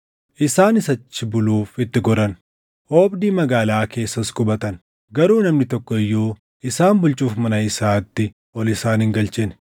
Isaanis achi buluuf itti goran. Oobdii magaalaa keessas qubatan; garuu namni tokko iyyuu isaan bulchuuf mana isaatti ol isaan hin galchine.